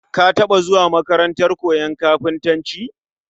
Ka taba zuwa makarantar koyon kafintanci?